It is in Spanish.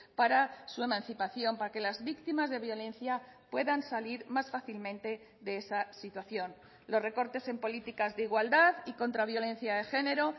para su emancipación para que las víctimas de violencia puedan salir más fácilmente de esa situación los recortes en políticas de igualdad y contra violencia de género